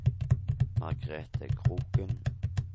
Margrethe Kroken